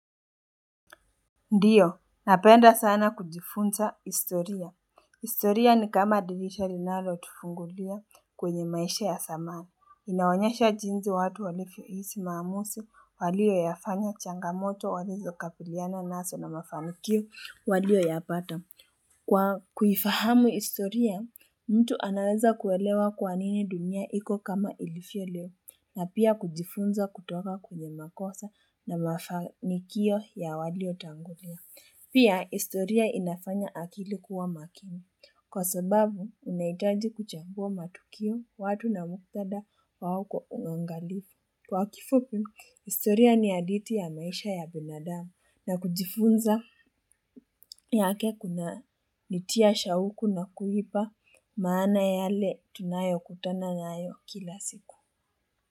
Ndiyo, napenda sana kujifunza historia. Historia ni kama divisha linalo tufungulia kwenye maisha ya zamani. Inaonyesha jinzi watu walivyo hisi maamuzi waliyoyafanya changamoto walizokabiliana nazo na mafanikiyo waliyoyapata. Kwa kuifahamu historia, mtu anaweza kuelewa kwa nini dunia iko kama ilivyo leo na pia kujifunza kutoka kwenya makosa na mafanikiyo ya walio tangulia. Pia, historia inafanya akili kuwa makini kwa sababu unahitaji kuchagua matukiyo watu na muktadha wao unangalifu. Kwa kifupi, historia ni hadithi ya maisha ya binadamu na kujifunza yake kunaitia shauku na kuipa maana yale tunayokutana nayo kila siku.